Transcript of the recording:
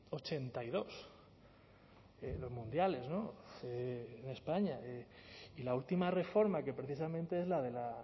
ochenta y dos en los mundiales no en españa y la última reforma que precisamente es la de la